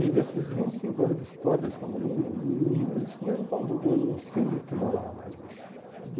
E desses vinte e cinco anos de história desse condomínio, não existe nenhum condo um síndico que mora lá mais hoje.